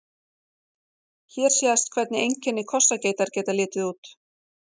Hér sést hvernig einkenni kossageitar geta litið út.